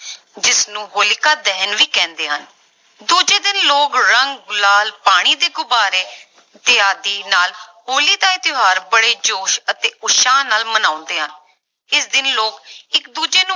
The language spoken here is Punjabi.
ਜਿਸਨੂੰ ਹੋਲਿਕਾ ਦਹਨ ਵੀ ਕਹਿੰਦੇ ਹਨ, ਦੂਜੇ ਦਿਨ ਲੋਕ ਰੰਗ, ਗੁਲਾਲ, ਪਾਣੀ ਦੇ ਗੁਬਾਰੇ ਇਤਆਦਿ ਨਾਲ ਹੋਲੀ ਦਾ ਇਹ ਤਿਉਹਾਰ ਬੜੇ ਜੋਸ਼ ਅਤੇ ਉਤਸ਼ਾਹ ਨਾਲ ਮਨਾਉਂਦੇ ਆ, ਇਸ ਦਿਨ ਲੋਕ ਇੱਕ ਦੂਜੇ ਨੂੰ